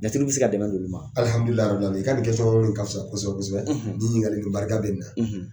Jatigi bɛ se ka dɛmɛ don ma, alihamudula arabili alamina i ka nin ka fisa kosɛbɛ kosɛbɛ nin ɲininkali ninnu barika bɛ nin na